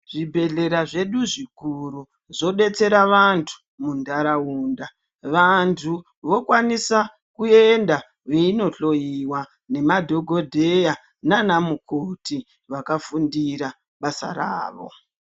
Zvibhehlera zvedu zvikuru zvodetsera antu muntaraunda. Vantu vokwanisa kuenda veindo hloyiwa nemadhokodheya nana mukoti vakafundire basa ravo.